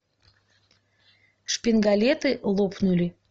шпингалеты лопнули